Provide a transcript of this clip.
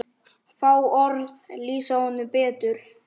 Fá orð lýsa honum betur.